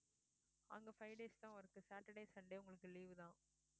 அங்க five days தான் work saturday sunday உங்களுக்கு leave தான்